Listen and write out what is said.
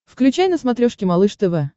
включай на смотрешке малыш тв